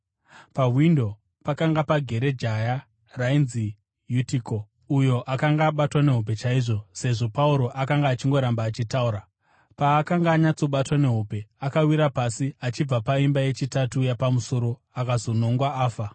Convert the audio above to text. Pawindo pakanga pagere jaya rainzi Yutiko, uyo akanga abatwa nehope chaizvo sezvo Pauro akanga achingoramba achitaura. Paakanga anyatsobatwa nehope akawira pasi achibva paimba yechitatu yapamusoro akazonongwa afa.